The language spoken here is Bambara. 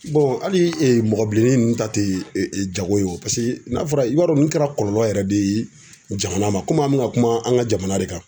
hali mɔgɔninfin ninnu ta tɛ jago ye o n'a fɔra i b'a dɔn ninnu kɛra kɔlɔlɔ yɛrɛ de ye jamana ma komi an bɛna kuma an ka jamana de kan.